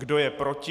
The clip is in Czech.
Kdo je proti?